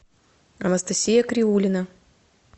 анастасия криулина